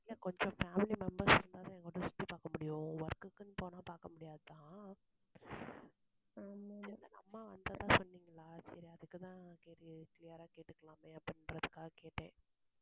இல்ல கொஞ்சம் family members இருந்தாதா சுத்தி பார்க்க முடியும் work க்குன்னு போனா பார்க்க முடியாதுதான். அம்மா வந்ததா சொன்னீங்களா சரி, அதுக்குத்தான் சரி clear ஆ கேட்டுக்கலாமே, அப்படின்றதுக்காக கேட்டேன்